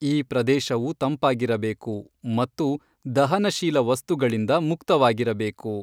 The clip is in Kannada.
ಈ ಪ್ರದೇಶವು ತಂಪಾಗಿರಬೇಕು ಮತ್ತು ದಹನಶೀಲ ವಸ್ತುಗಳಿಂದ ಮುಕ್ತವಾಗಿರಬೇಕು.